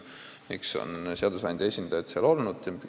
Miks on seadusandja esindajad seal olnud?